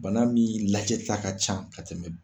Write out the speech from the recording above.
Bana min lajɛta ka ca ka tɛmɛ